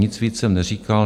Nic víc jsem neříkal.